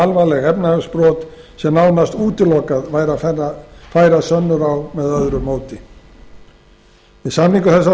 alvarleg efnahagsbrot sem nánast útilokað væri að færa sönnur á með öðru móti við samningu þessa